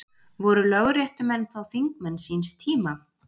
Voru lögréttumenn þá þingmenn síns tíma?